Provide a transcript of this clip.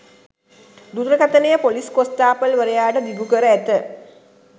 දුරකථනය ‍police කොස්තාපල් වරයාට දිගුකර ඇත.